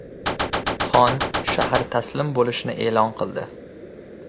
Xon shahar taslim bo‘lishini e’lon qildi.